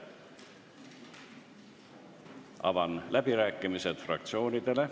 Avan läbirääkimised fraktsioonidele.